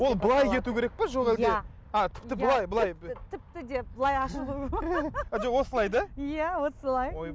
ол былай кету керек пе жоқ әлде а тіпті былай былай тіпті деп былай жоқ осылай да иә осылай